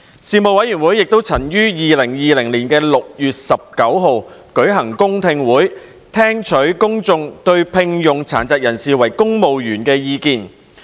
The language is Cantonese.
事務委員會亦曾於2020年6月19日舉行公聽會，聽取公眾對聘用殘疾人士為公務員的意見。